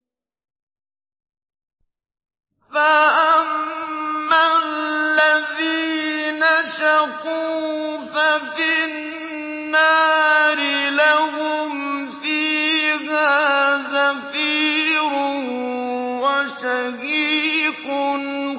فَأَمَّا الَّذِينَ شَقُوا فَفِي النَّارِ لَهُمْ فِيهَا زَفِيرٌ وَشَهِيقٌ